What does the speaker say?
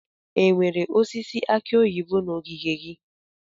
Enwere osisi aki oyibo na ogige gị?